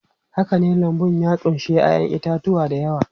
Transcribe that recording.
Haka ne, lambun ya ƙunshi 'ya'yan itatuwa da yawa.